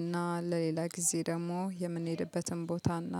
እና ለሌላ ጊዜ ደግሞ የምንሄድበትን ቦታ እና